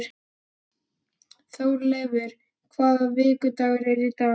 Þórleifur, hvaða vikudagur er í dag?